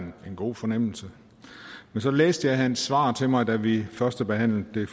en god fornemmelse men så læste jeg hans svar til mig da vi førstebehandlede det